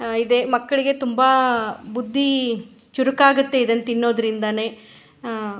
ಆ ಇದೆ ಮಕ್ಕಳಿಗೆ ತುಂಬ ಬುದ್ದಿ ಚುರ್ಕಗಿರತ್ತೆ ಇದನ್ ತಿನ್ನೊದ್ರಿಂದಾನೆ ಅಅ --